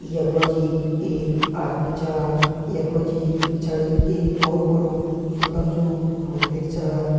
यख मा जी एक आदमी छ यख मा जी पिछाड़ी एक बहोत बड़ु सूंदर सु मंदिर छ।